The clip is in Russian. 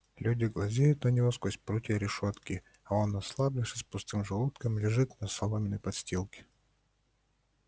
люди глазеют на него сквозь прутья решётки а он ослабевший с пустым желудком лежит на соломенной подстилке